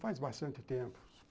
Faz bastante tempo.